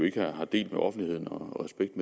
ikke har delt med offentligheden og respekt